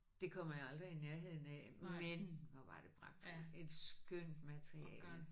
Det kommer jeg aldrig i nærheden af men hvor var det pragtfuldt. Et skønt materiale